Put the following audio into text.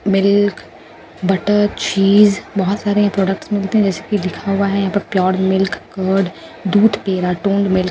milk butter cheese बहुत सारे यहां प्रोडक्ट्स मिलते हैं जैसे कि लिखा हुआ है यहां पर प्योर मिल्क और दूध यहां टोन मिल्क --